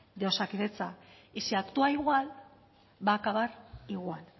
de osakidetza y si actúa igual va a acabar igual